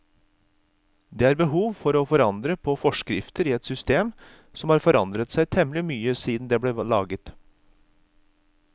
Det er behov for å forandre på forskrifter i et system som har forandret seg temmelig mye siden det ble laget.